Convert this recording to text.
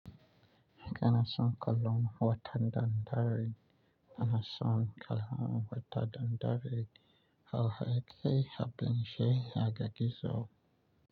Kanason kallon wata da dare, kanason kalon wata da dare, hauhe ke habenshe haga gizo.